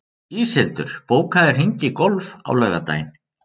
Íshildur, bókaðu hring í golf á laugardaginn.